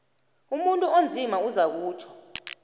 umuntu onzima uzakutjho